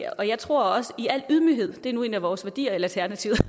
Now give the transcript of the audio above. og jeg tror også i al ydmyghed det er nu en af vores værdier i alternativet